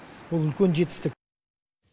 ол үлкен жетістік